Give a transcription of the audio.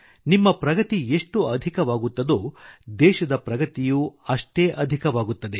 ನಿಮ್ಮಪ್ರಗತಿ ಎಷ್ಟು ಅಧಿಕ ಅಷ್ಟೇ ದೇಶದ ಪ್ರಗತಿಯೂ ಆಗುತ್ತದೆ